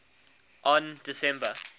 on december